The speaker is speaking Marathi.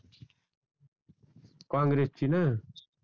काँग्रेस ची न